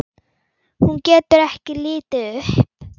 Hún getur ekki litið upp.